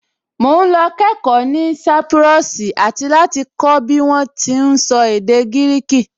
Mò ún lọ kẹ́ẹ̀kọ́ ní sápúrọ́ọ̀sì àti láti kọ́ bí wọ́n ti ún sọ èdè gírìkì